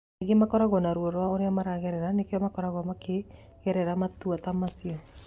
Aingĩ makoragwo na ruo rwa ũrĩa maraigwa nĩkĩo makoragwo makĩgerera matua ta macio.